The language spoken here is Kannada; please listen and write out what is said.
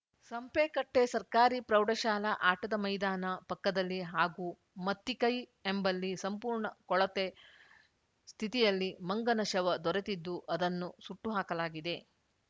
ಸಂಪೆಕಟ್ಟೆಸರ್ಕಾರಿ ಪ್ರೌಢಶಾಲಾ ಆಟದ ಮೈದಾನ ಪಕ್ಕದಲ್ಲಿ ಹಾಗೂ ಮತ್ತಿಕೈ ಎಂಬಲ್ಲಿ ಸಂಪೂರ್ಣ ಕೊಳತೆ ಸ್ಥಿತಿಯಲ್ಲಿ ಮಂಗನ ಶವ ದೊರೆತಿದ್ದು ಅದನ್ನು ಸುಟ್ಟು ಹಾಕಲಾಗಿದೆ